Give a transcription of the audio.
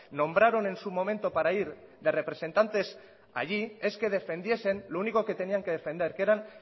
nombraron en su momento para ir de representantes allí es que defendiesen lo único que tenían que defender que eran